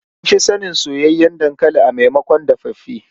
An fi sanin soyayyen dankali a maimakon dafaffe.